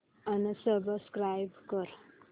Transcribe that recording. unsubscribe कर